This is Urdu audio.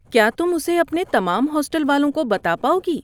کیا تم اسے اپنے تمام ہاسٹل والوں کو بتا پاؤ گی؟